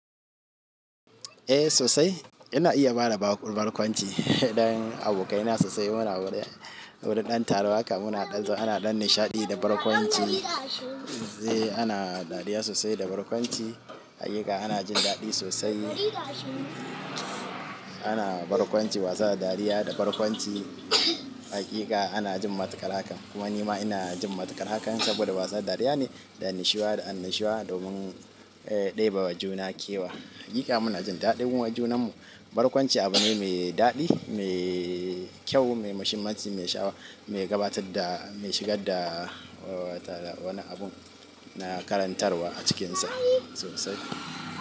Eh sosai ina iya bada ba barƙwanci. Dan abokai na sosai muna wurin, wurin ɗan taruwa haka muna ɗan, ana ɗan nishaɗi da barkwanci. Sai ana dariya sosai da barkwanci. Haƙiƙa ana jin daɗi sosai. Ana barkwanci wasa da dariya da barkwanci. Haƙiƙa ana jin matukar hakan. Kuma nima ina jin matukar hakan saboda wasa da dariya ne da nishiwa da anishiwa domin ɗebe wa juna kewa. Haƙiƙa muna jin daɗin junan mu. Barkwanci abu ne mai daɗi, mai kyau, mai muhimmanci, mai shawa, mai gabatar da, mai shigar da wani abun na karantarwa a cikinsa sosai.